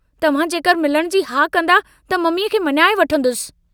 तव्हां जेकर मिलण जी हा कन्दा त ममीअ खे मञाए वठंदुसि।